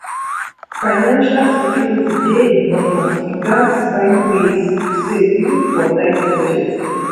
financial security dey important we gats find ways to save even for tight budget